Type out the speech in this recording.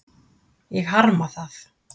Ég harma það.